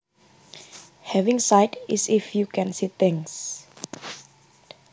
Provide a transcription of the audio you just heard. Having sight is if you can see things